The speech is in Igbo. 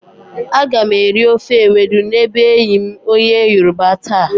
Aga m eri ofe ewedu n'ebe enyi m onye yoroba taa.